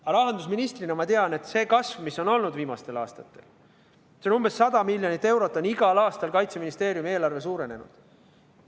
Aga rahandusministrina ma tean, et see kasv, mis on olnud viimastel aastatel, on umbes 100 miljonit eurot – igal aastal on Kaitseministeeriumi eelarve nii palju suurenenud.